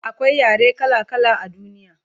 akwai yare kala kala a duniya